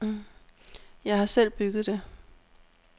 Jeg har selv bygget det.